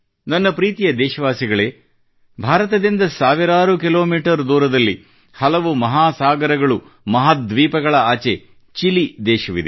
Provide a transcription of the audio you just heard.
ನನ್ನ ಪ್ರೀತಿಯ ದೇಶವಾಸಿಗಳೇ ಭಾರತದಿಂದ ಸಾವಿರಾರು ಕಿಲೋಮೀಟರ್ ದೂರದಲ್ಲಿ ಹಲವು ಮಹಾಸಾಗರಗಳು ಮಹಾದ್ವೀಪಗಳ ಆಚೆ ಚಿಲಿ ದೇಶವಿದೆ